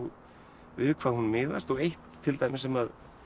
við hvað hún miðast og eitt til dæmis sem